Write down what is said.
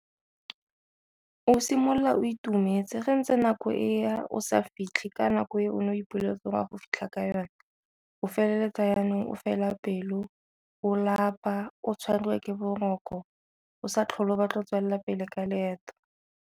O simolola o itumetse ga ntse nako e ya o sa fitlhe ka nako e o ne o ipoleletse gore a go fitlha ka yone o feleletsa Jaanong o fela pelo, o lapa, o tshwarwa ke boroko, o sa tlhole ba tla tswelela pele ka leeto.